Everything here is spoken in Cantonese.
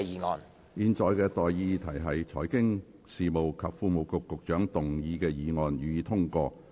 我現在向各位提出的待議議題是：財經事務及庫務局局長動議的議案，予以通過。